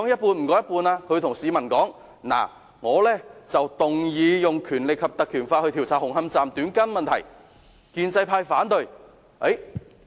他會告訴市民，他提出引用《條例》調查紅磡站"短筋問題"，但建制派反對。